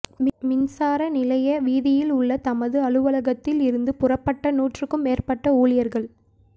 மின்சார நிலைய வீதியில் உள்ள தமது அலுவலகத்தில் இருந்து புறப்பட்ட நூற்றுக்கும் மேற்பட்ட ஊழியர்கள்